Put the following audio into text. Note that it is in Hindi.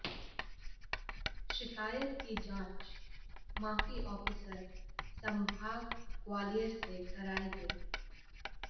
शिकायत की जांच माफी ऑफीसर संभाग ग्वालियर से कराई गई